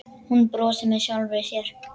Hún brosir með sjálfri sér.